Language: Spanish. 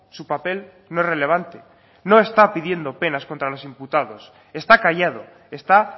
su papel no es relevante no está pidiendo penas contra los imputados está callado está